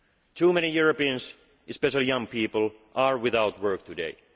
new jobs. Too many Europeans especially young people are without